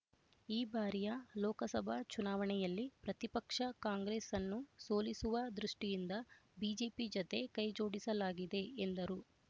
ಈ ಬಾರಿಯ ಲೋಕಸಭಾ ಚುನಾವಣೆಯಲ್ಲಿ ಪ್ರತಿಪಕ್ಷ ಕಾಂಗ್ರೆಸ್‌ ಅನ್ನು ಸೋಲಿಸುವ ದೃಷ್ಠಿಯಿಂದ ಬಿಜೆಪಿ ಜತೆ ಕೈಜೋಡಿಸಲಾಗಿದೆ ಎಂದರು